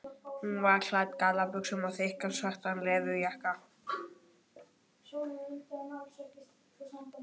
Hún var klædd í gallabuxur og þykkan svartan leðurjakka.